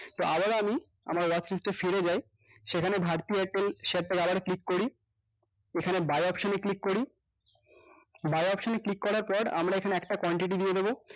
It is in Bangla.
তো আবারো আমি আমার watchlist এ ফিরে যাই সেখানে bharti airtel share টা তে আবারো ক্লিক করি এখানে buy option এ click করি buy option এ click করার পর আমরা এখানে একটা quantity দিয়ে দেব